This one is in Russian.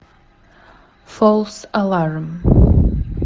фолс аларм